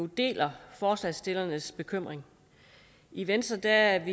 deler forslagsstillernes bekymring i venstre er